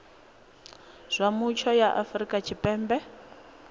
zwa mutsho ya afrika tshipembe